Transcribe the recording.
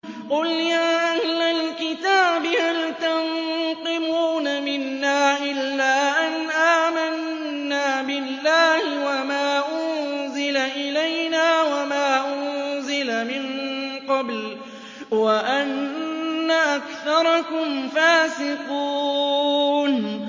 قُلْ يَا أَهْلَ الْكِتَابِ هَلْ تَنقِمُونَ مِنَّا إِلَّا أَنْ آمَنَّا بِاللَّهِ وَمَا أُنزِلَ إِلَيْنَا وَمَا أُنزِلَ مِن قَبْلُ وَأَنَّ أَكْثَرَكُمْ فَاسِقُونَ